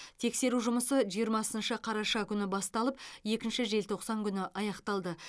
тексеру жұмысы жиырмасыншы қараша күні басталып екінші желтоқсан күні аяқталды